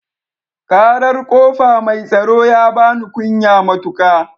Ƙarar ƙofa mai tsaro ya bani kunya matuƙa